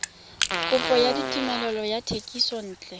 kopo ya tumelelo ya thekisontle